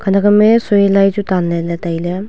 khanak am e soi lai chu tan ley ley tailey.